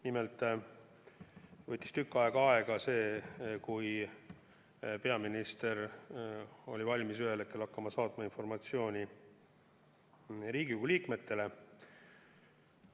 Nimelt võttis tükk aega, enne kui peaminister oli ühel hetkel valmis hakkama saatma informatsiooni Riigikogu liikmetele.